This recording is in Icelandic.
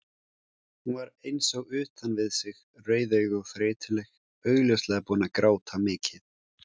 Hún var eins og utan við sig, rauðeygð og þreytuleg, augljóslega búin að gráta mikið.